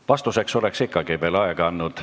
Vastuseks oleks ma teile ikkagi veel aega andnud.